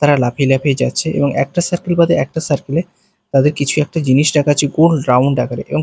তারা লাফিয়ে লাফিয়ে যাচ্ছে এবং একটা সার্কেল বাদে একটা সার্কেল -এ তাদের কিছু একটা জিনিস রাখা আছে গোল রাউন্ড আকারে এবং--